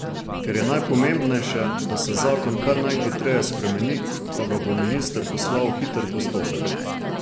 Ker je najpomembnejše, da se zakon kar najhitreje spremeni, pa ga bo minister poslal v hiter postopek.